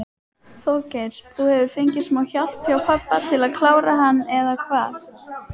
Þorgeir: Þú hefur fengið smá hjálp hjá pabba til að klára hann eða hvað?